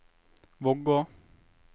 Vågå